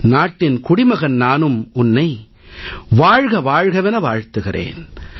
நாட்டின் குடிமகன் நானும் உன்னை வாழ்க வாழ்கவென வாழ்த்துகிறேன்